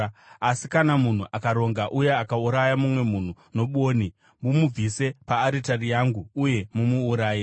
Asi kana munhu akaronga uye akauraya mumwe munhu nobwoni, mumubvise paaritari yangu uye mumuuraye.